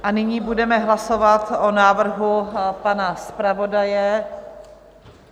A nyní budeme hlasovat o návrhu pana zpravodaje.